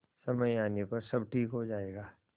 समय आने पर सब ठीक हो जाएगा